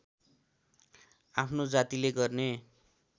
आफ्नो जातिले गर्ने